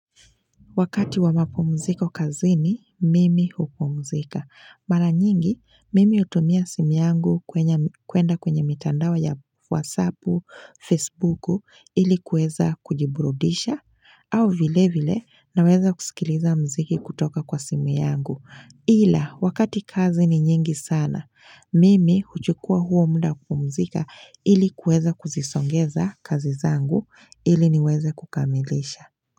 Wakati wa mapumziko kazi ni mimi hupumzika. Mara nyingi, mimi utumia simi yangu kuenda kwenye mitandao wa ya wasapu, facebooku ili kueza kujiburudisha au vile vile na weza kusikiliza mziki kutoka kwa simu yangu. Ila, wakati kazi ni nyingi sana, mimi huchukua huo munda kupumzika ili kueza kuzisongeza kazi zangu ili niweze kukamilisha.